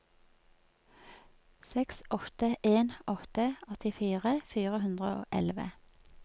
seks åtte en åtte åttifire fire hundre og elleve